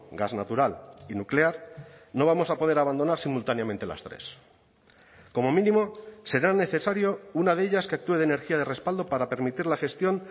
gas natural y nuclear no vamos a poder abandonar simultáneamente las tres como mínimo será necesario una de ellas que actúe de energía de respaldo para permitir la gestión